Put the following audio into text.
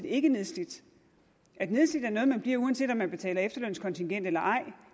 ikke nedslidt nedslidt er noget man bliver uanset om man betaler efterlønskontingent eller ej